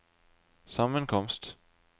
sammenkomst